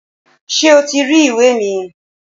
Ṣé o ti rí ìwé mi?